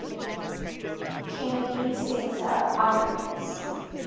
kennedy center honorees